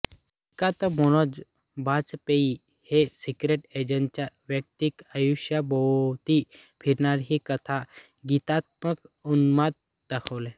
श्रीकांत मनोज बाजपेयी या सीक्रेट एजंटच्या वैयक्तिक आयुष्याभोवती फिरणारी ही कथा गीतात्मक उन्माद दाखवते